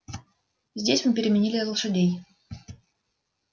здесь мы переменили лошадей